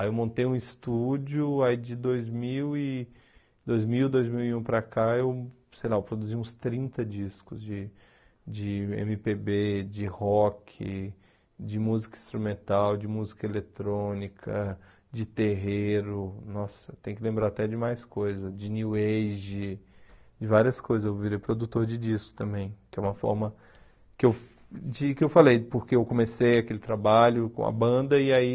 Aí eu montei um estúdio, aí de dois mil e... dois mil, dois mil e um para cá, eu sei lá, produzimos trinta discos de... de eme pê bê, de rock, de música instrumental, de música eletrônica, de terreiro, nossa, eu tenho que lembrar até de mais coisas, de new age, de várias coisas, eu virei produtor de discos também, que é uma forma que eu... de que eu falei, porque eu comecei aquele trabalho com a banda e aí